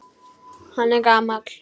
Hann er gamall.